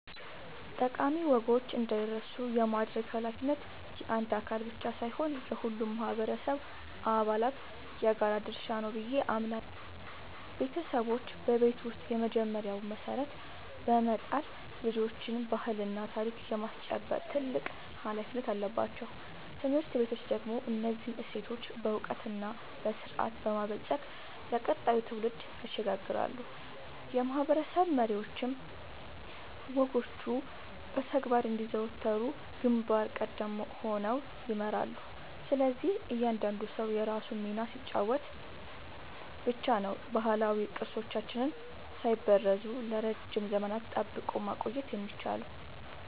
ጠቃሚ ወጎች እንዳይረሱ የማድረግ ኃላፊነት የአንድ አካል ብቻ ሳይሆን የሁሉም ማህበረሰብ አባላት የጋራ ድርሻ ነው ብዬ አምናለሁ። ቤተሰቦች በቤት ውስጥ የመጀመሪያውን መሰረት በመጣል ልጆችን ባህልና ታሪክ የማስጨበጥ ትልቅ ኃላፊነት አለባቸው። ትምህርት ቤቶች ደግሞ እነዚህን እሴቶች በዕውቀትና በስርዓት በማበልጸግ ለቀጣዩ ትውልድ ያሸጋግራሉ፤ የማህበረሰብ መሪዎችም ወጎቹ በተግባር እንዲዘወተሩ ግንባር ቀደም ሆነው ይመራሉ። ስለዚህ እያንዳንዱ ሰው የራሱን ሚና ሲጫወት ብቻ ነው ባህላዊ ቅርሶቻችንን ሳይበረዙ ለረጅም ዘመናት ጠብቆ ማቆየት የሚቻለው።